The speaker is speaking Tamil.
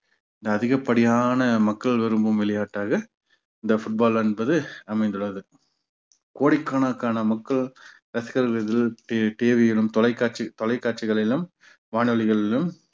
இந்த அதிகப்படியான மக்கள் விரும்பும் விளையாட்டாக இந்த football என்பது அமைந்துள்ளது கோடிக்கணக்கான மக்கள் ரசிகர்கள் T~TV யிலும் தொலைக்காட்சி தொலைக்காட்சிகளிலும் வானொலிகளிலும்